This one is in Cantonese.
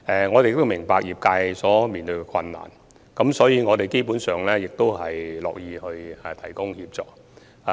我們明白業界所面對的困難，所以我們基本上樂意提供協助。